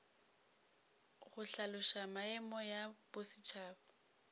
go hlaloša maemo ya bosetšhaba